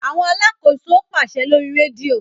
Awọn alàkóso paṣẹ lórí redio